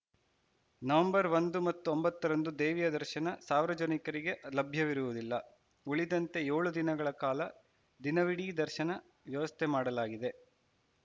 November ಒಂದು ಮತ್ತು ಒಂಬತ್ತರಂದು ದೇವಿಯ ದರ್ಶನ ಸಾರ್ವಜನಿಕರಿಗೆ ಲಭ್ಯವಿರುವುದಿಲ್ಲ ಉಳಿದಂತೆ ಏಳು ದಿನಗಳ ಕಾಲ ದಿನವಿಡೀ ದರ್ಶನ ವ್ಯವಸ್ಥೆ ಮಾಡಲಾಗಿದೆ